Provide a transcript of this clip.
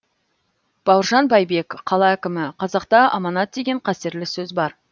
бауыржан байбек қала әкімі қазақта аманат деген қастерлі сөз бар